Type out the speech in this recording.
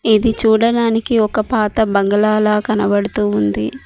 ఇది చూడడానికి ఒక పాత బంగ్లాలా కనపడుతూ ఉంది.